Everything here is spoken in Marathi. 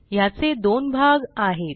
ह्याचे दोन भाग आहेत